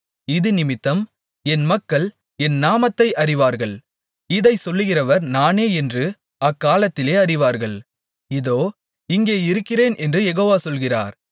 இதினிமித்தம் என் மக்கள் என் நாமத்தை அறிவார்கள் இதைச் சொல்கிறவர் நானே என்று அக்காலத்திலே அறிவார்கள் இதோ இங்கே இருக்கிறேன் என்று யெகோவா சொல்கிறார்